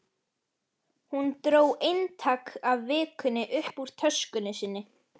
Hún dró eintak af Vikunni upp úr töskunni sinni.